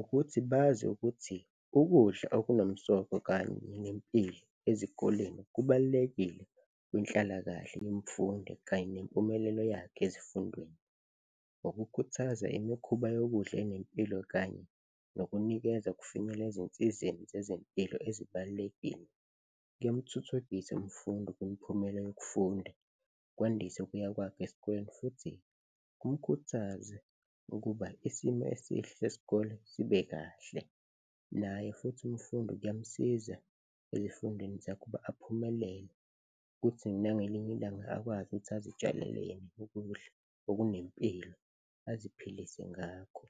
Ukuthi bazi ukuthi ukudla okunomsoco kanye nempilo ezikoleni kubalulekile kwinhlalakahle yemfundo kanye nempumelelo yakhe ezifundweni. Ukukhuthaza imikhuba yokudla enempilo kanye nokunikeza ukufinyela ezinsizeni zezempilo ezibalulekile kuyamthuthukisa umfundi kumiphumela yokufunda, kwandise ukuya kwakhe esikoleni futhi kumkhuthaze ukuba isimo esihle sesikole sibe kahle naye futhi umfundi kuyamsiza ezifundeni zakhe ukuba aphumelele, kuthi nangelinye ilanga akwazi ukuthi azitshalele yena ukudla okunempilo, aziphilise ngakho